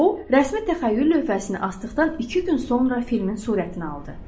O, rəsmi təxəyyül lövhəsini asdıqdan iki gün sonra filmin surətini aldı.